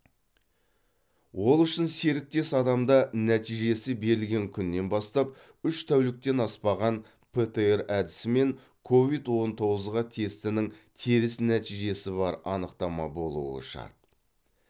ол үшін серіктес адамда нәтижесі берілген күннен бастап үш тәуліктен аспаған птр әдісімен ковид он тоғызға тестінің теріс нәтижесі бар анықтама болуы шарт